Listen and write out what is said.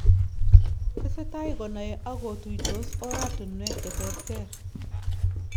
Tesetai konaei ak kotuytos oratunwek che terter